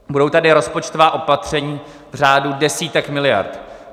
Budou tady rozpočtová opatření v řádu desítek miliard.